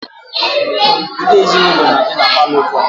Foto ezinaụlọ na-adị na palọ ụfọdụ